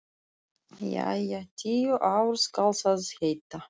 Jæja, tíu ár skal það heita.